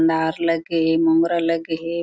नार लगे हे मोंगरा लगे हे।